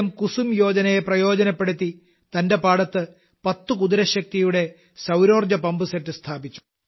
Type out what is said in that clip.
കുസുമ് യോജനയെ പ്രയോജനപ്പെടുത്തി തന്റെ പാടത്ത് പത്തു കുതിരശക്തിയുടെ സൌരോർജ്ജ പമ്പ് സെറ്റ് സ്ഥാപിച്ചു